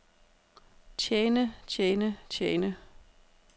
tjene tjene tjene